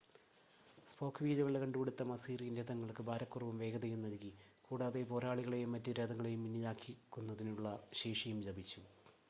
spoke വീലുകളുടെ കണ്ടുപിടുത്തം Assyrian രഥങ്ങൾക്ക് ഭാരക്കുറവും വേഗതയും നൽകി കൂടാതെ പോരാളികളെയും മറ്റു രഥങ്ങളെയും പിന്നിലാക്കുന്നതിനുള്ള ശേഷിയും ലഭിച്ചു